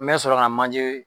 N bɛ sɔrɔ ka manje